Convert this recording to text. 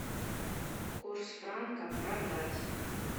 курс франка продать